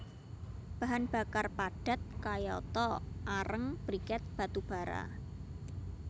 Bahan bakar padat kayata areng briket batu bara